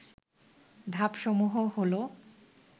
ধাপসমূহ হল